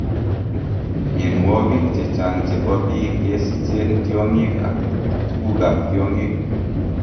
Mionwogik chechang' chebo biik kesicheen tiong'ik ak tugukab tiong'ik